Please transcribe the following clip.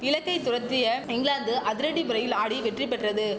இலக்கை துரத்திய இங்கிலாந்து அதிரடி புறையில் ஆடி வெற்றி பெற்றது